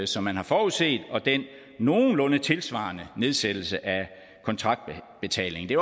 som man har forudset og den nogenlunde tilsvarende nedsættelse af kontraktbetalingen det